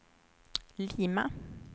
Lima